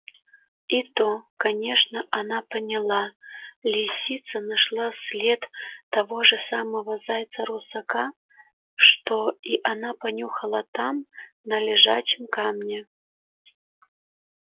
и то конечно она поняла лисица нашла след того же самого зайца-русака что и она понюхала там на лежачем камне